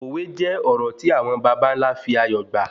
Òwe jẹ́ òrò tí àwọn bàbàńlá fi ayọ̀ gbà